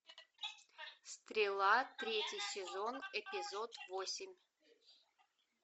стрела третий сезон эпизод восемь